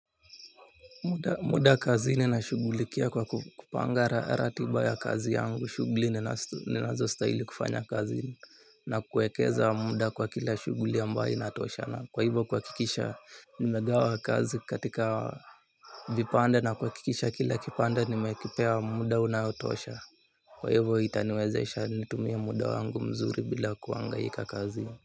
Muda kazini nashughulikia kwa kupanga ratiba ya kazi yangu shughuli ninazostahili kufanya kazi na kuekeza muda kwa kila shughuli ambayo inatoshana kwa hivo kuhakikisha nimegawa kazi katika vipande na kuhakikisha kila kipande nimekipea muda unaotosha. Kwa hivo itaniwezesha nitumie muda wangu mzuri bila kuhangaika kazi.